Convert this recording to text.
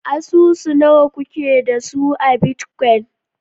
Asusu nawa kuke da su a bitcoin?